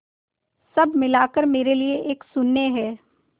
सब मिलाकर मेरे लिए एक शून्य है